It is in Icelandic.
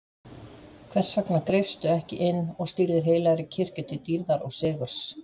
Hvers vegna greipstu ekki inn og stýrðir heilagri kirkju til dýrðar og sigurs?